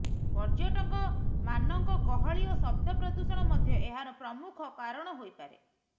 ପର୍ଯ୍ୟଟକମାନଙ୍କ ଗହଳି ଓ ଶବ୍ଦ ପ୍ରଦୂଷଣ ମଧ୍ୟ ଏହାର ପ୍ରମୁଖ କାରଣ ହୋଇପାରେ